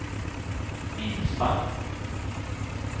minsta